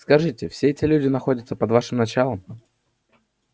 скажите все эти люди находятся под вашим началом